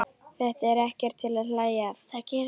Þetta er ekkert til að hlæja að!